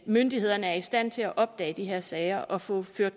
myndighederne er i stand til at opdage de her sager og få